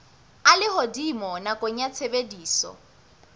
a lehodimo nakong ya tshebediso